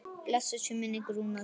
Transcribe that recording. Blessuð sé minning Rúnars.